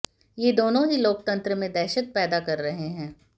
ये दोनों ही लोकतंत्र में दहशत पैदा कर रहे हैं